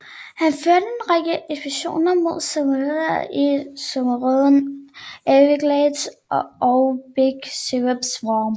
Han førte en række ekspeditioner mod seminolerne i sumpområderne Everglades og Big Cyprus Swamp